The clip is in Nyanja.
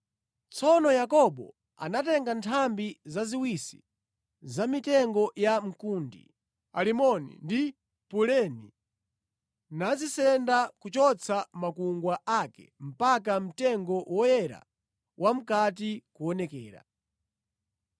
Tsono Yakobo anatenga nthambi zaziwisi za mitengo ya mkundi, alimoni ndi puleni nazisenda kuchotsa makungwa ake mpaka mtengo woyera wamʼkati kuonekera.